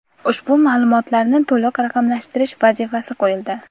Ushbu ma’lumotlarni to‘liq raqamlashtirish vazifasi qo‘yildi.